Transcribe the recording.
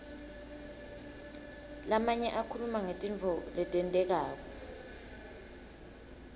lamanye akhuluma ngetintfo letentekako